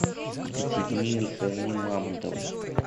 екатерине михайловне мамонтовой